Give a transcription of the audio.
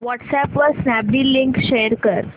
WhatsApp वर Snapdeal link share कर